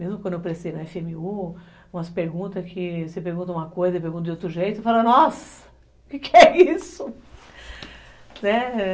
Mesmo quando eu prestei na efe eme u, umas perguntas que, você pergunta uma coisa e eu pergunto de outro jeito, eu falo, nossa, o que é isso?